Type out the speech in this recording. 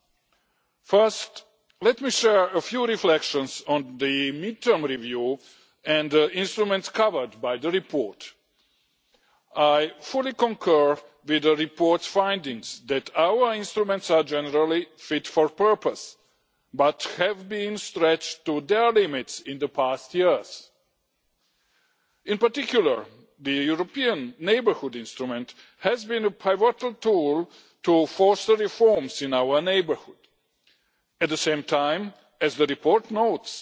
Let me first share a few reflections on the mid term review and the instruments covered by the report. I fully concur with the report's findings that our instruments are generally fit for purpose, but have been stretched to their limits in the past years. In particular, the European Neighbourhood Instrument has been a pivotal tool to force reforms in our neighbourhood. At the same time, as the report notes,